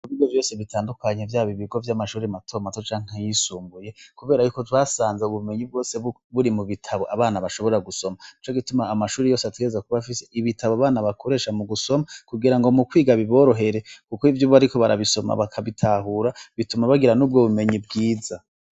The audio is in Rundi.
Ibigo byose bitandukanye vyaba ivyamashure mato mato Canke ayi sumbuye kubera Yuko twasanze ubumenyi buri mu gitabu abana bashobora gusoma Nico gituma amashure yose ategerezwa kuba afise ibitabo abana bakoresha mu gusoma mu kwiga biborohere iyo bariko barabisoma bakabitahura bituma bagira nubwo bumenyi bwiza.